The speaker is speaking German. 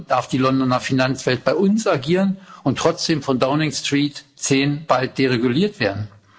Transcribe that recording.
Darf die Londoner Finanzwelt bei uns agieren und trotzdem von Downing Street 10 bald dereguliert werden?